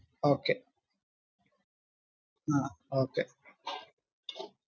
Okay ah Okay